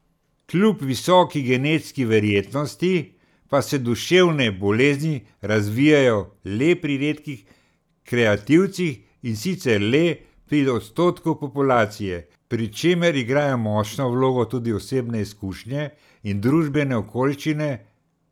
Kljub visoki genetski verjetnosti pa se duševne bolezni razvijejo le pri redkih kreativcih, in sicer le pri odstotku populacije, pri čemer igrajo močno vlogo tudi osebne izkušnje in družbene okoliščine.